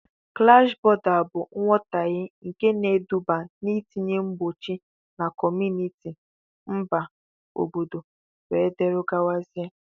Klash bọ̀da bụ nghotahie nke na-eduba n'itinye mgbochi na kọmunịti, mba, obodo wdgz